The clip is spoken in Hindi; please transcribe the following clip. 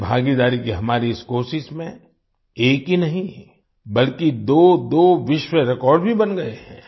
जनभागीदारी की हमारी इस कोशिश में एक ही नहीं बल्कि दोदो विश्व रिकॉर्ड रेकॉर्ड भी बन गए हैं